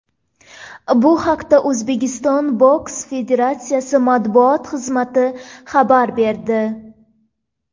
Bu haqda O‘zbekiston boks federatsiyasi matbuot xizmati xabar berdi.